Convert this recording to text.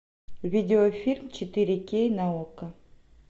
видеофильм четыре кей на окко